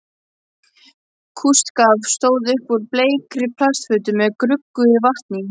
Kústskaft stóð upp úr bleikri plastfötu með gruggugu vatni í.